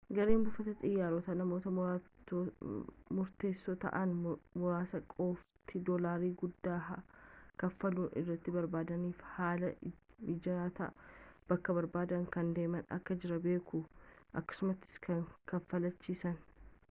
gareen buufata xiyyaarotaa namootni murteessoo ta'an muraasni qofti dolaarii guddaa kaffaluun ariitii barbaadaniifi haala mijaatan bakka barbaadan kan deeman akka jiran beeku akkasumattis kan kaafalchiisan